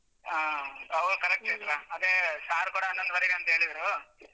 ಹಾ, ಹೌದ್ correct ಚೈತ್ರ ಅದೇ sir ಕೂಡ ಹನ್ನೊಂದೂವರೆಗೆ ಅಂತ ಹೇಳಿದ್ರು.